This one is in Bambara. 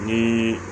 Ni